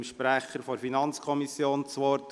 Ich gebe dem Sprecher der FiKo das Wort.